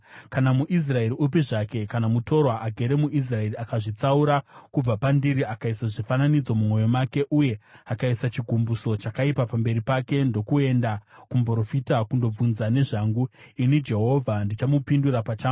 “ ‘Kana muIsraeri upi zvake, kana mutorwa agere muIsraeri, akazvitsaura kubva pandiri akaisa zvifananidzo mumwoyo make uye akaisa chigumbuso chakaipa pamberi pake ndokuenda kumuprofita kunobvunza nezvangu, ini Jehovha ndichamupindura pachangu.